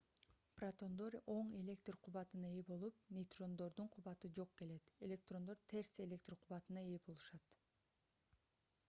протондор оң электр кубатына ээ болуп нейтрондордун кубаты жок келет электрондор терс электр кубатына ээ болушат